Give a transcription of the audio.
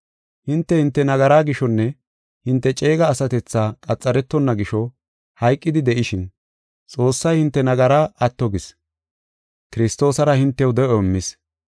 Hinte, hinte nagaraa gishonne hinte ceega asatethaa qaxaretonna gisho hayqidi de7ishin, Xoossay hinte nagaraa atto gis. Kiristoosara hintew de7o immis.